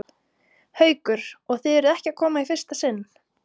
Haukur: Og þið eruð ekki að koma í fyrsta sinn?